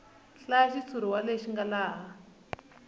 hlaya xitshuriwa lexi nga laha